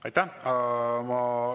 Aitäh!